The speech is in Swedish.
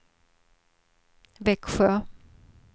Växjö